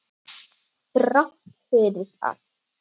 Þrátt fyrir allt.